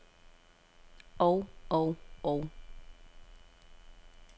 og og og